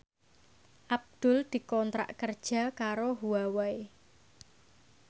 Abdul dikontrak kerja karo Huawei